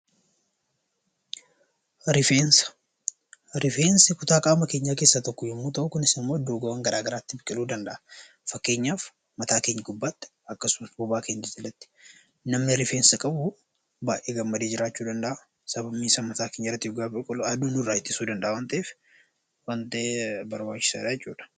Rifeensa: Rifeensi kutaa qaama keenyaa keessaa tokko yeroo ta'u, kunis immoo iddoowwan gara garaatti biqiluu danda’a. Fakkeenyaaf mataa keenya gubbaatti, akkasumas bobaa keenya jalatti. Namni rifeensa qabu baay'ee gammadee jiraachuu danda’a. Sababni isaas mataa keenya gubbaatti yeroo biqilu aduu namarraa dhorkuu ni danda’a. Kanaaf baay'ee barbaachisaadha jechuudha.